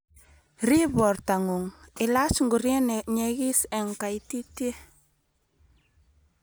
riib borto ngung' ilach ngorie ne nyegis eng kaititie